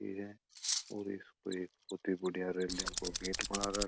ये और इसमें एक बड़ी बढ़िया रेलिंग को गेट बना राखो है।